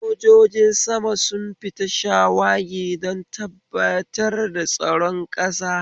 Sojojin sama sun fita shawagi don tabbatar da tsaron ƙasa.